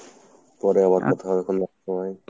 পরে আবার কথা হবে কোনো একসময়।